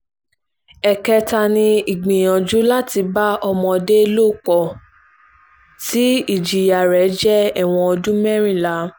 ẹ̀kẹta ni ìgbìyànjú láti bá ọmọdé lò pọ̀ tí ìjìyà rẹ̀ jẹ́ ẹ̀wọ̀n ọdún mẹ́rìnlá